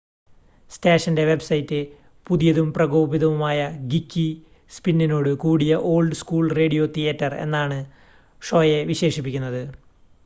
"സ്റ്റേഷന്റെ വെബ്സൈറ്റ് "പുതിയതും പ്രകോപിതവുമായ ഗീക്കി സ്‌പിന്നോട് കൂടിയ ഓൾഡ് സ്കൂൾ റേഡിയോ തിയേറ്റർ" എന്നാണ് ഷോയെ വിശേഷിപ്പിക്കുന്നത്‌.